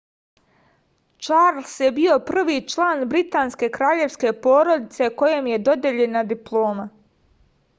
čarls je bio prvi član britanske kraljevske porodice kojem je dodeljena diploma